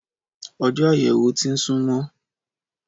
Ọjó àyẹ̀wò ti ń sún mó